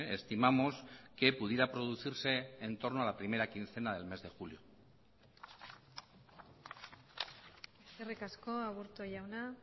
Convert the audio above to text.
estimamos que pudiera producirse entorno a la primera quincena del mes de julio eskerrik asko aburto jauna